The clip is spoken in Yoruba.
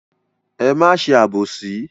Ẹ má ṣe àbòsí.